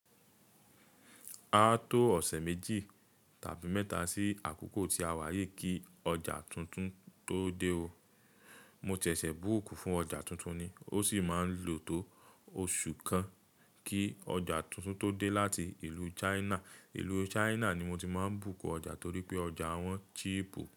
A tó ọ̀sẹ̀ méjì tàbí mẹ́ta sí àkókò tí a wá yìí kí ọjà tuntun tó dé o. Mo ṣẹ̀ṣẹ̀ búùkù fún ọjà tuntun ni, ó sì máa lò tó oṣù kan kí ọjà tuntun tó dé láti ìlú China. Ìlú China ni mo ti máa ń búùkù ọjà torí pé ọjà wọ́n cheap o.